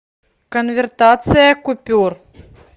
конвертация купюр